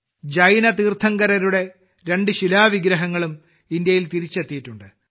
ജൈന തീർത്ഥങ്കരരുടെ രണ്ട് ശിലാവിഗ്രഹങ്ങളും ഇന്ത്യയിൽ തിരിച്ചെത്തിയിട്ടുണ്ട്